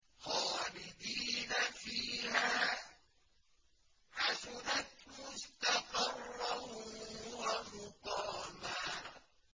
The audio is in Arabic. خَالِدِينَ فِيهَا ۚ حَسُنَتْ مُسْتَقَرًّا وَمُقَامًا